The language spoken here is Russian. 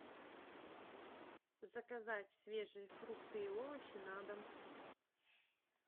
заказать свежие фрукты и овощи на дом